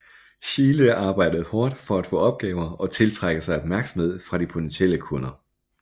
Schiele arbejdede hårdt for at få opgaver og at tiltrække sig opmærksomhed fra de potentielle kunder